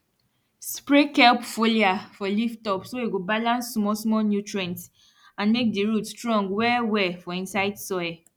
spray kelp foliar for leaftop so e go balance smallsmall nutrients and make di root strong wellwell for inside soil